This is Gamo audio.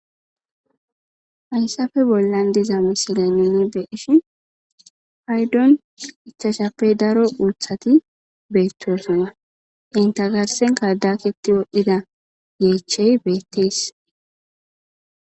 Hayssappe bollan diza misilay nuni be7shin paydon ichashappe daro uuthati beettosana. inta garsenka dakiti wodhida yeechey beettes.